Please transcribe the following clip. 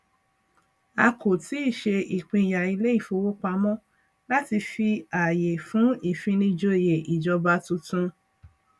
a kò tíì ṣe ìpínyà ilé ìfowópamọ láti fi àyè fún ìfinijòyè ìjọba tuntun